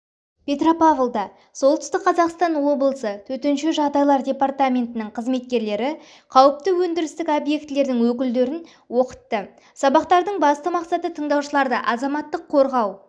петропавлда солтүстік қазақстан облысы төтенше жағдайлар департаментінің қызметкерлері қауіпті өндірістік объектілердің өкілдерін оқытты сабақтардың басты мақстаы тыңдаушыларды азаматтық қорғау